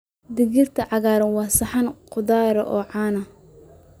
Digirta cagaaran waa saxan khudradeed oo caan ah.